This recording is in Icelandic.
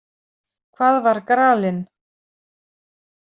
Hvað var gralinn?